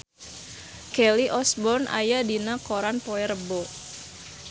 Kelly Osbourne aya dina koran poe Rebo